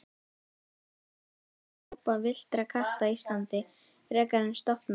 Réttara er að tala um hópa villtra katta Íslandi frekar en stofna.